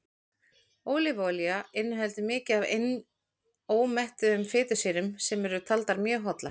ólífuolía inniheldur mikið af einómettuðum fitusýrum sem eru taldar mjög hollar